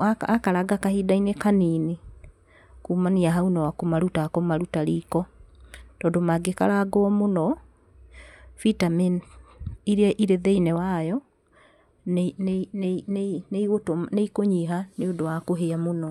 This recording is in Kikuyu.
Wa karanga gwa kahinda kanini kumania hau nĩ kũmaruta akũmaruta iko, tondũ mangĩkarangwo mũno vitamin iria irĩ thĩinĩ wayo nĩ ikũnyiha nĩ ũndũ wa kũhĩa mũno.